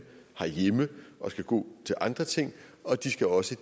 og skal gå til andre ting og de skal også